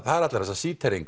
það allar þessar